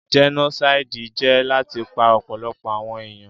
Jẹ́nósáídì jẹ́ láti pa ọ̀pọ̀lọpọ̀ àwọn èèyàn